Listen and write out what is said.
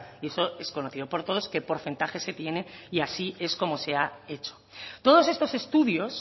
y eso es conocido por todos qué porcentaje se tiene y así es como se ha hecho todos estos estudios